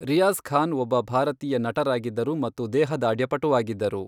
ರಿಯಾಜ್ ಖಾನ್ ಒಬ್ಬ ಭಾರತೀಯ ನಟರಾಗಿದ್ದರು ಮತ್ತು ದೇಹದಾರ್ಢ್ಯಪಟುವಾಗಿದ್ದರು.